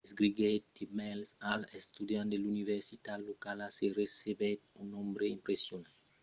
escriguèt de mails als estudiants de l’universitat locala e recebèt un nombre impressionant de proposicions de lotjament gratuït